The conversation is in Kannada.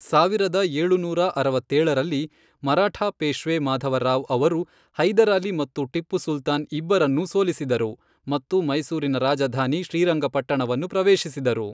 ಸಾವಿರದ ಏಳುನೂರ ಅರವತ್ತೇಳರಲ್ಲಿ, ಮರಾಠಾ ಪೇಶ್ವೆ ಮಾಧವರಾವ್ ಅವರು ಹೈದರಾಲಿ ಮತ್ತು ಟಿಪ್ಪು ಸುಲ್ತಾನ್ ಇಬ್ಬರನ್ನೂ ಸೋಲಿಸಿದರು ಮತ್ತು ಮೈಸೂರಿನ ರಾಜಧಾನಿ ಶ್ರೀರಂಗಪಟ್ಟಣವನ್ನು ಪ್ರವೇಶಿಸಿದರು.